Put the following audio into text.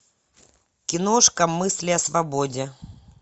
киношка мысли о свободе